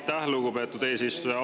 Aitäh, lugupeetud eesistuja!